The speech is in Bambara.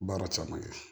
Baara caman kɛ